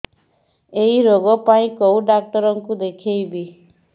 ଏଇ ରୋଗ ପାଇଁ କଉ ଡ଼ାକ୍ତର ଙ୍କୁ ଦେଖେଇବି